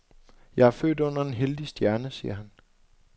Jeg er født under en heldig stjerne, siger han.